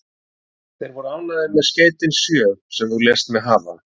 Þeir voru ánægðir með skeytin sjö, sem þú lést mig hafa.